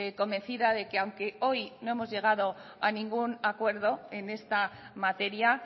convencida de que aunque hoy no hemos llegado a ningún acuerdo en esta materia